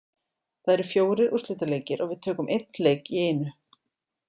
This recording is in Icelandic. Það eru fjórir úrslitaleikir og við tökum einn leik í einu.